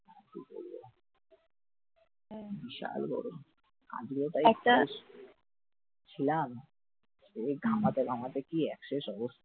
হ্যাঁ বিশাল গরম আজ কেউ তাই ছিলাম সেই ঘামাতে ঘামাতে একশেষ অবস্থা